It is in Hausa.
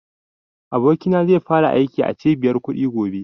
Abokina zai fara aiki a cibiyar kuɗi gobe